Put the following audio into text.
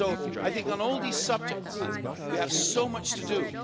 I think on all these subjects, we have so much to do.